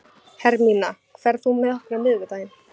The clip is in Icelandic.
Hermína, ferð þú með okkur á miðvikudaginn?